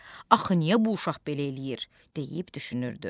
“Axı niyə bu uşaq belə eləyir?” deyib düşünürdü.